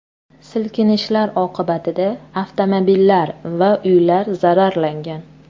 Silkinishlar oqibatida avtomobillar va uylar zararlangan.